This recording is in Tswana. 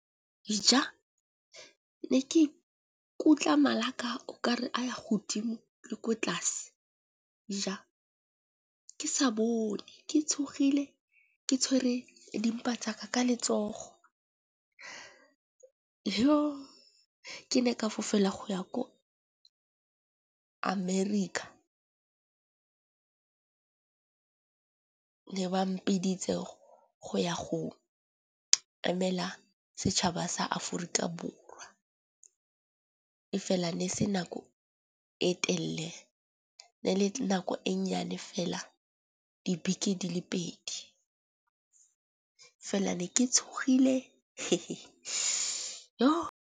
Ne ke ikutlwa mala a ka o kare a ya godimo le ko tlase ja ke sa bone ke tshogile ke tshwere di mpa tsaka ka letsogo. Ke ne ka fofela go ya ko america, ne ba mpiditse go ya go emela setšhaba sa aforika borwa. E fela ne se nako e telle ne le nako e nnyane fela dibeke di le pedi, fela ne ke tshogile yo.